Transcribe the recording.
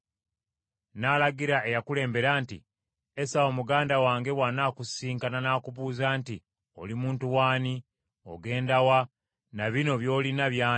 N’alagira eyakulembera nti, “Esawu, muganda wange bw’anaakusisinkana n’akubuuza nti, ‘Oli muntu w’ani? Ogenda wa? Na bino by’olina by’ani?’